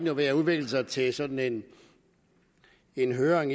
jo ved at udvikle sig til sådan en høring